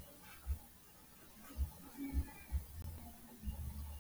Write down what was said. Nakong ya mafelo a beke a le mang, batho ba supileng ba ile ba bolawa, e leng ho hoteditseng mehwanto ya boipelaetso.